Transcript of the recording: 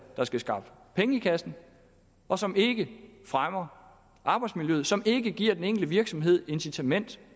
der skal skaffe penge i kassen og som ikke fremmer arbejdsmiljøet som ikke giver den enkelte virksomhed incitament